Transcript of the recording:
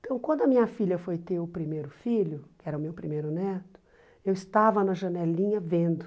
Então, quando a minha filha foi ter o primeiro filho, que era o meu primeiro neto, eu estava na janelinha vendo.